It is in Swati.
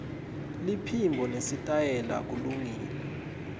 liphimbo nesitayela kulungile